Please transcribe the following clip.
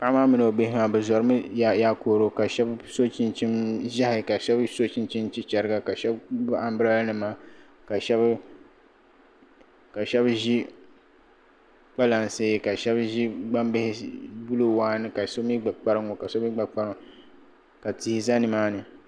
Paɣi maa mini. o bihi maa bizori mi yaakooro ka shab so chin chin zehi ka shab so chin chin chin chi chariga kashab gbinni am bi lala kasheb zi kpalalansi. kashabi zi gbambihi blue wan. kasomi gba kparinŋo. kasomi. gba kparinŋo ka tihi za nimaani